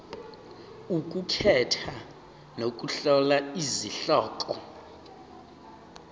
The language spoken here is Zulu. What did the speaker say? ukukhetha nokuhlola izihloko